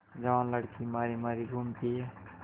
जवान लड़की मारी मारी घूमती है